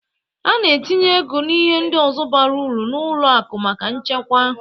A na-etinye ego na ihe ndị ọzọ bara ụrụ na ụlọ akụ maka nchekwa.